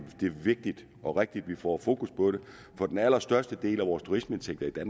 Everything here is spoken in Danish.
vigtigt og rigtigt at vi får fokus på det for den allerstørste del af vores turistindtægter